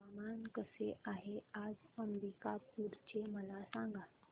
हवामान कसे आहे आज अंबिकापूर चे मला सांगा